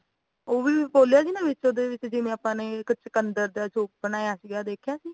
ਉਹ ਵੀ ਬੋਲਿਆ ਸੀ ਨਾ ਵਿਚ ਉਹਦੇ ਵੀ ਜਿਵੇਂ ਆਪਾ ਨੇ ਕਿ ਚੁਕੰਦਰ ਦਾ soon ਬਣਾਇਆ ਸੀਗਾ ਦੇਖਿਆ ਸੀ